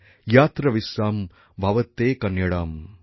যত্র বিশ্বম ভবত্যেক নীড়ম